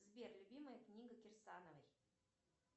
сбер любимая книга кирсановой